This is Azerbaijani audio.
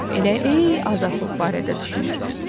Elə hey azadlıq barədə düşünür.